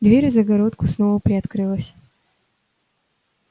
дверь в загородку снова приоткрылась